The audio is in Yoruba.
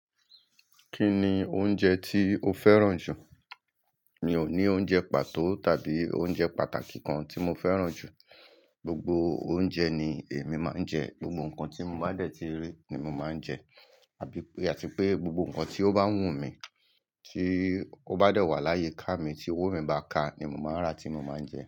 Kí ni oúnjẹ tí o fẹ́ràn jù? Mi ò ní oúnjẹ pàtó tàbí oúnjẹ pàtàkì kan tí mo fẹ́ràn jù. Gbogbo oúnjẹ ni èmi máa ń jẹ, gbogbo nǹkan tí mo bá dẹ̀ ti rí ni mo máa ń jẹ, àbí àti pé gbogbo nǹkan tí ó bá wù mí, tí ó bá de wà láyiká mi, tí owó mi bá ká ni mo máa ń rà tí mo máa ń jẹ.